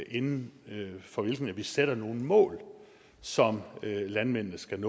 inden for hvilken vi sætter nogle mål som landmændene skal